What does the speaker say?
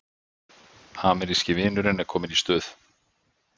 Ameríski vinurinn er kominn í stuð